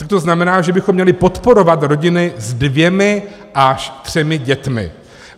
A to znamená, že bychom měli podporovat rodiny se dvěma až třemi dětmi.